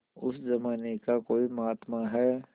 उस जमाने का कोई महात्मा है